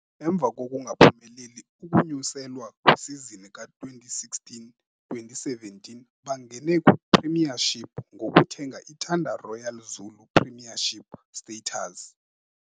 Emva kokungaphumeleli ukunyuselwa kwisizini ka-2016-17 bangene kwiPremiership ngokuthenga iThanda Royal Zulu Premiership Status.